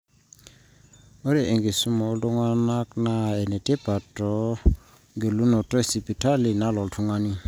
ore enkisuma oltung'ani naa enetipat teng'elunoto esipitali nalo oltung'ani